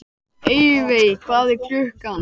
Evey, hvað er klukkan?